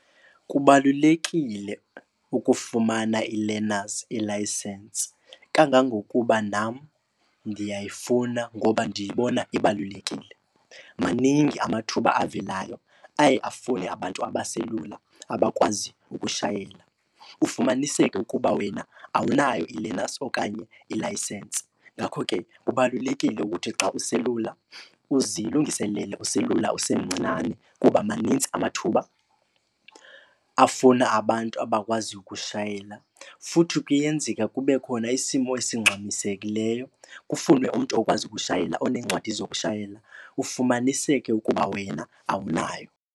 Kubalulekile ukufumana i-learners ilayisensi, kangangokuba nam ndiyayifuna ngoba ndiyibona ibalulekile. Maningi amathuba avelayo aye afune abantu abaselula abakwaziyo ukushayela ufumaniseke ukuba wena awunayo i-learners okanye ilayisensi. Ngakho ke kubalulekile ukuthi xa uselula uzilungiselele uselula usemncinane kuba maninzi amathuba afuna abantu abakwaziyo ukushayela. Futhi kuyenzeka kube khona isimo esingxamisekileyo kufunwe umntu okwazi ukushayela onencwadi zokushayela, kufumaniseke ukuba wena awunayo.